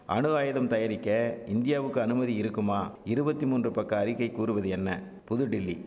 அணு ஆயுதம் தயாரிக்க இந்தியவுக்கு அனுமதி இருக்குமா இருவத்தி மூன்று பக்க அறிக்கை கூறுவது என்ன புதுடில்லி